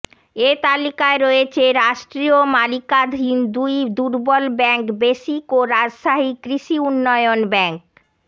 এ তালিকায় রয়েছে রাষ্ট্রীয় মালিকানাধীন দুটি দুর্বল ব্যাংক বেসিক ও রাজশাহী কৃষি উন্নয়ন ব্যাংক